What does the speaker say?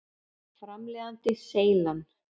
Framleiðandi: Seylan.